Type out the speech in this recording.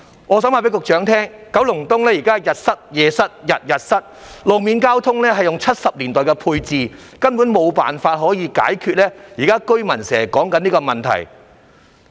我想告訴局長，九龍東現在每天日夜都塞車，路面交通仍使用1970年代的配置，根本無法解決居民現時面對的問題。